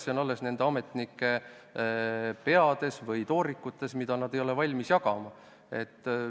See on alles ametnike peades või toorikutel, mida nad ei ole valmis jagama.